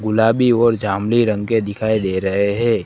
गुलाबी और जामुनी रंग के दिखाई दे रहे है।